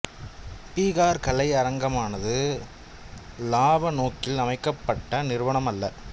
பீகார் கலை அரங்கமானது லாப நோக்கில் அமைக்கப்பட்ட நிறுவனம் அல்ல